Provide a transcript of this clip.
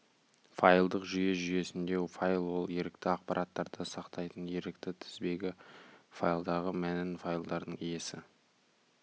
файлдық жүйе жүйесінде файл ол ерікті ақпараттарды сақтайтын ерікті тізбегі файлдағы мәнін файлдардың иесі